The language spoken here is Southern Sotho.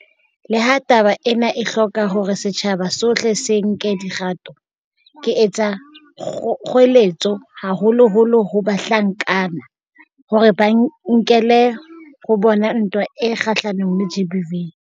Leha taba ena e hloka hore setjhaba sohle se nke dikgato, ke etsa kgoeletso haholoholo ho bahlankana, hore ba e nkele ho bona ntwa e kgahlanong le GBV.